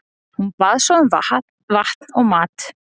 Hún bað svo um vatn og mat.